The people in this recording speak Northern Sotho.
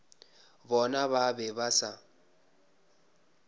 bona ba be ba sa